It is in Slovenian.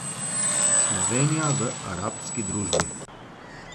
Slovenija v arabski družbi.